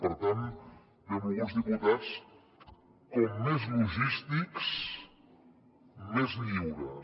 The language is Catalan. per tant benvolguts diputats com més logístics més lliures